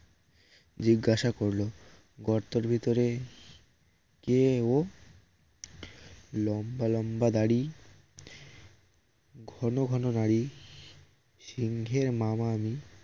জিজ্ঞাসা করল গর্তের ভিতরে কে ও লম্বা লম্বা দারি ঘন ঘন নাড়ি সিংহের মামা আমি